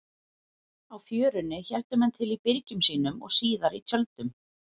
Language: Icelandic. Á Fjörunni héldu menn til í byrgjum sínum og síðar í tjöldum.